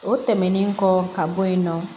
O tɛmɛnen kɔ ka bɔ yen nɔ